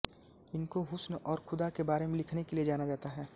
इनको हुस्न और ख़ुदा के बारे में लिखने के लिए जाना जाता है